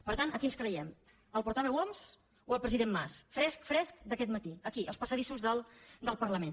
per tant a qui ens creiem al portaveu homs o al president mas fresc fresc d’aquest matí aquí als passadissos del parlament